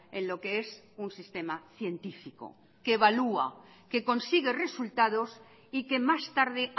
en lo que es un sistema científico que evalúa que consigue resultados y que más tarde